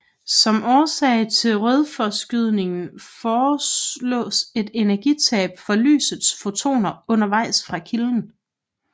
Som årsag til rødforskydningen foreslås et energitab for lysets fotoner undervejs fra kilden